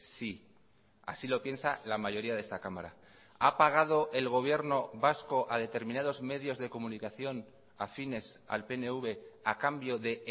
sí así lo piensa la mayoría de esta cámara ha pagado el gobierno vasco a determinados medios de comunicación afines al pnv a cambio de